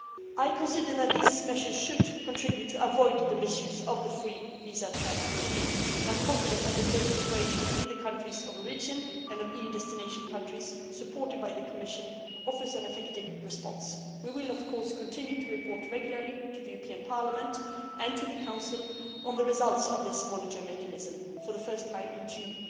I consider that these measures should contribute to avoiding the misuse of the visa free travel regime, and I am confident that close cooperation between the countries of origin and EU destination countries, supported by the Commission, offers an effective response. We will, of course, continue to report regularly to the European Parliament and to the Council on the results of this monitoring mechanism, for the first time